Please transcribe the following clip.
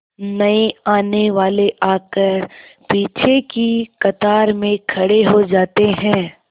नए आने वाले आकर पीछे की कतार में खड़े हो जाते हैं